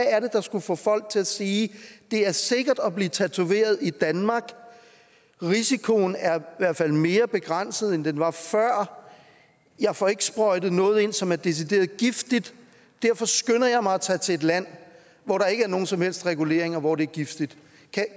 er der skulle få folk til at sige det er sikkert at blive tatoveret i danmark risikoen er hvert fald mere begrænset end den var før jeg får ikke sprøjtet noget ind som er decideret giftigt og derfor skynder jeg mig at tage til et land hvor der ikke er nogen som helst regulering og hvor det er giftigt